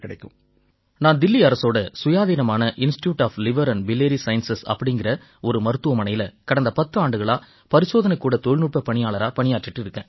நான் தில்லி அரசோட சுயாதீனமான institute of liver and biliary sciences அப்படீங்கற ஒரு மருத்துவமனையில கடந்த பத்தாண்டுகளா பரிசோதனைக்கூட தொழில்நுட்ப பணியாளரா பணியாற்றிக்கிட்டு இருக்கேன்